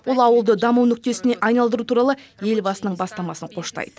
ол ауылды даму нүктесіне айналдыру туралы елбасының бастамасын қоштайды